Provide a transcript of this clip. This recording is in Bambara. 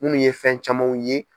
Munnu ye fɛn camanw ye.